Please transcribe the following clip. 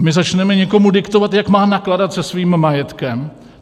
A my začneme někomu diktovat, jak má nakládat se svým majetkem.